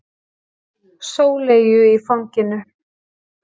Sóleyju í fanginu.